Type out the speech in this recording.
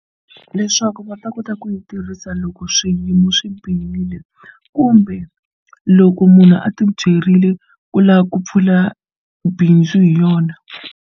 Leswaku va ta kota ku yi tirhisa loko swiyimo swi bihile kumbe loko munhu a ti byerile ku lava ku pfula bindzu hi yona.